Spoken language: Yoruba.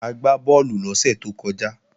A gbá bọ́ọ̀lù lọ́sẹ̀ tó kọjá